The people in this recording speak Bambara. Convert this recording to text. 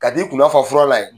Ka t’i kunna fa fura la yen.